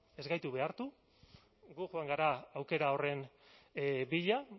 ez gaitu behartu gu joan gara aukera horren bila